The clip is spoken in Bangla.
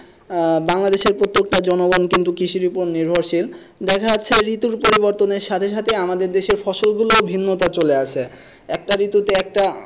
আহ বাংলাদেশের প্রত্যেকটি জনগণ কিন্তু কৃষি উপরে নির্ভরশীল দেখা যাচ্ছে এই ঋতু পরিবর্তনে সাথে সাথে আমাদের দেশের ফসল গুলো ভিন্নতা চলে আসে একটা ঋতুতে একটা,